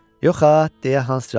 Yox ha, – deyə Hans cavab verdi.